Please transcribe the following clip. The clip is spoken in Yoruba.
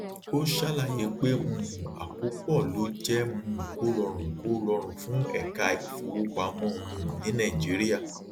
ó ṣàlàyé pé um àkópọ ló jẹ um kó rọrùn kó rọrùn fún èka ìfowopamọ um ní nàìjíríà